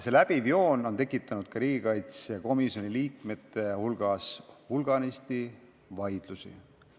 See läbiv joon on tekitanud riigikaitsekomisjoni liikmete hulgas hulganisti vaidlusi.